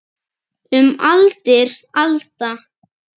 Um aldir alda.